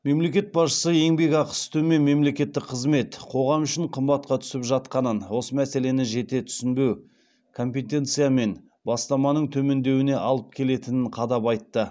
мемлекет басшысы еңбекақысы төмен мелекеттік қызмет қоғам үшін қымбатқа түсіп жатқанын осы мәселені жете түсінбеу компетенция мен бастаманың төмендеуіне алып келетінін қадап айтты